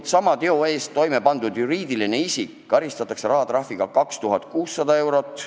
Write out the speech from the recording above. Kui sellise teo on toime pannud juriidiline isik, karistatakse teda rahatrahviga kuni 2600 eurot.